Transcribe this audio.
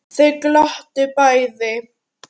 Þau glottu bæði.